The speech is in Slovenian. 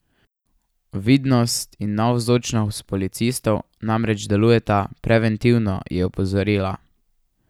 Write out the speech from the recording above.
Vidnost in navzočnost policistov namreč delujeta preventivno, je opozorila.